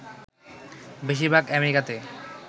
বেশীর ভাগ আমেরিকাতে